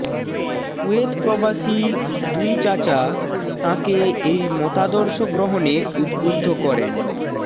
কুয়েতপ্রবাসী দুই চাচা তাঁকে এই মতাদর্শ গ্রহণে উদ্বুদ্ধ করেন